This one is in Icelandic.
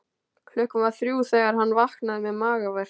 Klukkan var þrjú þegar hann vaknaði með magaverk.